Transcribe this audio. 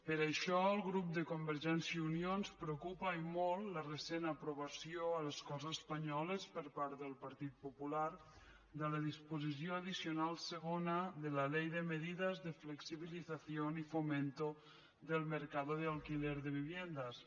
per això al grup parlamentari de convergència i unió ens preocupa i molt la recent aprovació a les corts espanyoles per part del partit popular de la disposició addicional segona de la ley de medidas de flexibilización y fomento del mercado de alquiler de viviendas